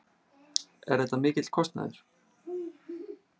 Er þetta mikill kostnaður?